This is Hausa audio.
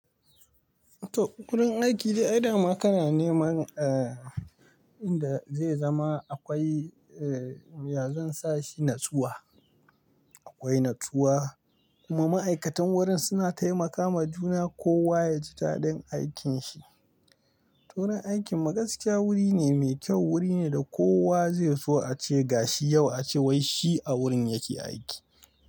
To, wurin aiki dai dama kana neman eh, inda zai zama akwai eh, ya zan sashi natsuwa. Akwai natsuwa kuma ma'aikatan wurin suna taimakawa juna kowa yaji dadin aikin shi. To wurin aiki mu gaskiya wuri ne mai kyau, wuri ne da kowa zai so ace gashi yau ace wai shi a wurin yake aiki.